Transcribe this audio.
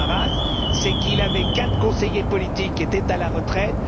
Samaras, c'est qu'il avait quatre conseillers politiques qui étaient à la retraite